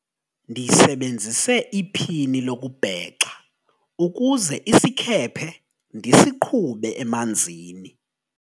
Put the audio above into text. ndisebenzise iphini lokubhexa ukuze isikhephe ndisiqhube emanzini